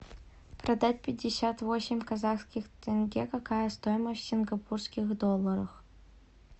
продать пятьдесят восемь казахских тенге какая стоимость в сингапурских долларах